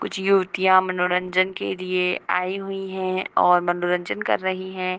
कुछ युवतियाँ मनोरंजन के लिए आई हुई हैं और मनोरंजन कर रही हैं।